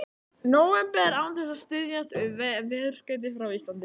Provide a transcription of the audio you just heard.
nóvember án þess að styðjast við veðurskeyti frá Íslandi.